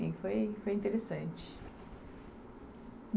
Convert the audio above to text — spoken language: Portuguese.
foi foi interessante.